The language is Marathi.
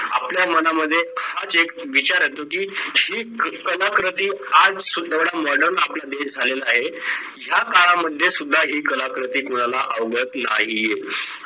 आपल्या मनामध्ये हाच एक विचार येतो की ही कलाकृती आज सुद्धा modern आपला देश झालेला आहे या काळामध्ये सुद्धा ही कलाकृती कुणाला आवडत नाहीये